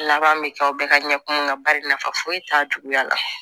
Laban bɛ kɛ aw bɛɛ ka ɲɛ kuma na bari nafa foyi t'a juguya la